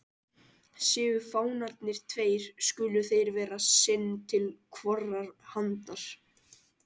Séu fánarnir tveir, skulu þeir vera sinn til hvorrar handar.